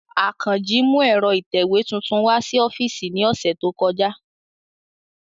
Akanji mu ẹ̀ro itẹwe tuntun wa si ọfiisi ni ọsẹ to kọja.